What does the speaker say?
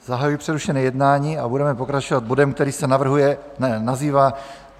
Zahajuji přerušené jednání a budeme pokračovat bodem, který se nazývá